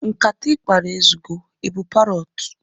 Nkata ịkpara ezugo! Ị bụ parọtu?